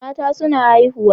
Mata suna haihu